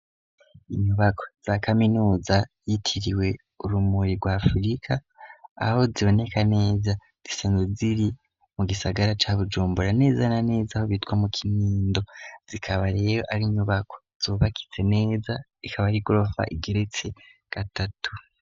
Inyubako za kaminuza yitiriwe Urumuri rwa afirika aho ziboneka neza zisenzwe ziri mu gisagara ca Bujumbura neza na neza aho bitwa mu kinindo zikaba rero ari inyubako zubakitse neza ikaba ari gorofa igeretse gatatu.